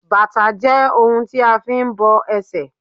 bàtà je oun ti a fi n bo esè